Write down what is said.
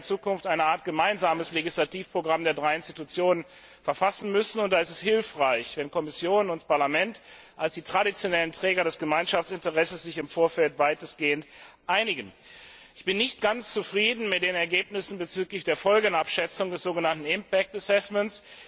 Wir werden ja in Zukunft eine Art gemeinsames Legislativprogramm der drei Institutionen verfassen müssen, und da ist es hilfreich, wenn Kommission und Parlament als die traditionellen Träger des Gemeinschaftsinteresses sich im Vorfeld weitestgehend einigen. Ich bin nicht ganz zufrieden mit den Ergebnissen bezüglich der Folgenabschätzung, des so genannten impact assessment